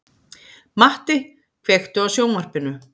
Matti, kveiktu á sjónvarpinu.